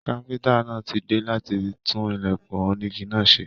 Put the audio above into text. Káfíntà náà tí dé láti tún ilẹkùn onígí náà ṣe.